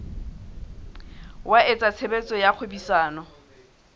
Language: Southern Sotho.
wa etsa tshebetso tsa kgwebisano